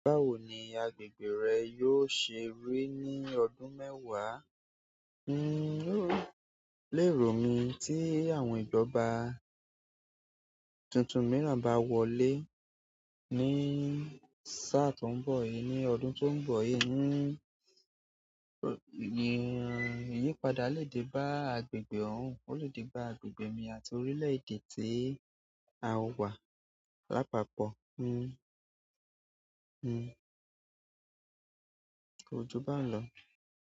Báwo ni agbègbè rẹ yóò ṣe rí ní ọdún mẹ́wàá? Un o, lé rò mí tí àwọn ìjọba tuntun mìíràn bá wọlé ní sáà tó ń bọ̀ yìí, ní ọdún tó ń bọ̀ yìí, ńi, ìyípadà lè de bá agbègbè òún, ó lè di bá agbègbè mi àti orílẹ̀ èdè tí a wà lápapọ̀. Pe ko ju baun lọ.